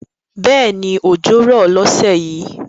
Bẹ́ẹ̀ni òjò rọ̀ lọ́sẹ̀ yìí